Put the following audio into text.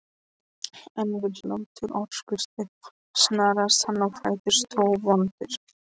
En við hláturroku Stefáns snaraðist hann á fætur, sótvondur.